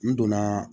N donna